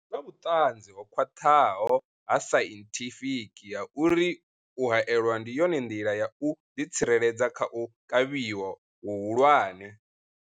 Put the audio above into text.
Hu na vhuṱanzi ho khwaṱhaho ha sainthifiki ha uri u haelwa ndi yone nḓila ya u ḓitsireledza kha u kavhiwa hu hulwane.